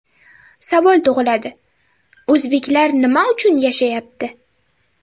Savol tug‘iladi o‘zbeklar nima uchun yashayapti?